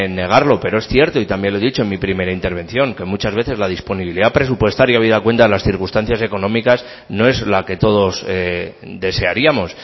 negarlo pero es cierto y también lo he dicho en mi primera intervención que muchas veces la disponibilidad presupuestaria habida cuenta las circunstancias económicas no es la que todos desearíamos